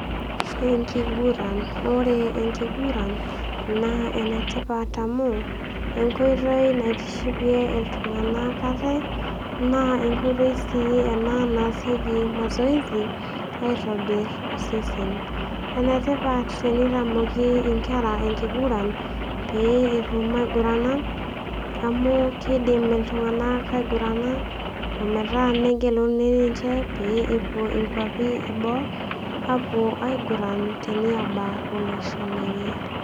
Enkiguran, ore enkiguran naa ene tipat amu enkoitoi naitishipie iltung'ana aate naa enkoitoi ena naa naasieki mazoezi aitobir osesen. Ene tipat teneitamoki inkera enkiguran pee etum aigurana amu keidim iltung'ana aigurana ometaa negeluni ninche pee epuo inkwapi e boo aapuo aiguran teniaba olosho lenye.